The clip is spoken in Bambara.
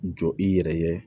Jɔ i yɛrɛ ye